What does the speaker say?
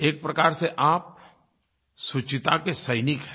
एक प्रकार से आप शुचिता के सैनिक हैं